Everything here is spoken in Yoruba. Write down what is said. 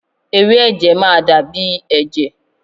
Ewé ẹ̀jẹ̀ máa dàbí ẹ̀jẹ̀